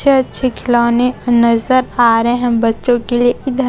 अच्छे अच्छे खिलौने नजर आ रहे हैं बच्चों के लिए इधर--